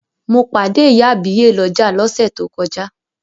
Mo pàdé ìyá àbíyè lọ́jà lọ́sẹ̀ tó kọjá.